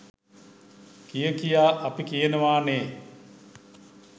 කිය කියා අපි කියනවනේ.